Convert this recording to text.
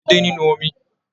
A ń rí edé nínú omi.